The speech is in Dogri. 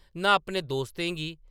नां अपने दोस्तें गी ।